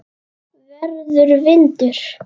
Verður vindur.